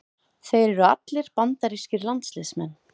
Þeir eru allir bandarískir landsliðsmenn